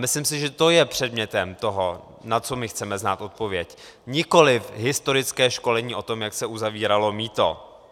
Myslím si, že to je předmětem toho, na co my chceme znát odpověď, nikoliv historické školení o tom, jak se uzavíralo mýto.